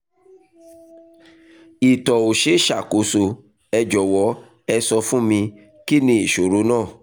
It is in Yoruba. ìtọ̀ ò ṣe é ṣàkóso ẹ jọ̀wọ́ ẹ sọ fún mi kí ni ìṣòro náà?